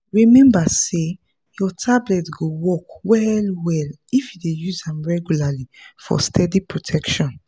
remember say your tablet go work well-well if you dey use am regularly for steady protection.